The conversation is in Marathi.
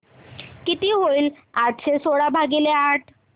किती होईल चारशे सोळा भागीले आठ